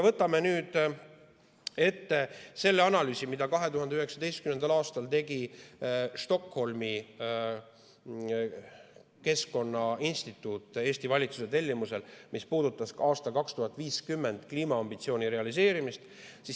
Võtame nüüd ette analüüsi, mille 2019. aastal tegi Stockholmi Keskkonnainstituut Eesti valitsuse tellimusel ja mis puudutas ka aastal 2050 kliimaambitsiooni realiseerimist.